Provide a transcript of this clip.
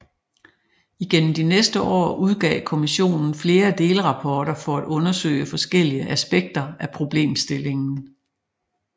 Igennem de næste år udgav kommisionen flere delrapporter for at undersøge forskellige aspekter af problemstillingen